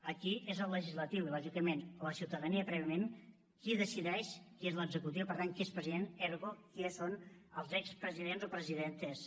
aquí és el legislatiu i lògicament la ciutadania prèviament qui decideix qui és l’executiu per tant qui és president ergo qui són els expresidents o presidentes